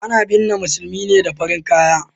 A na binne musulmi ne da farin kaya